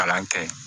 Kalan kɛ